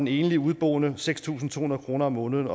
enlig udeboende seks tusind to hundrede kroner om måneden